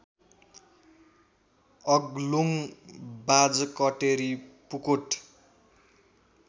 Aglung Bajhkateri Pukot